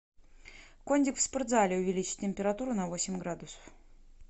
кондик в спортзале увеличь температуру на восемь градусов